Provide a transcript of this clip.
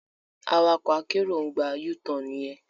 Awakọ akero ń gbà U-Tan yen